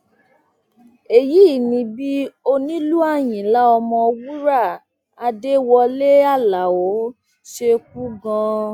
èyí ni bí onílù àyínlá ọmọwúrà adéwọlẹ aláo ṣe kú gan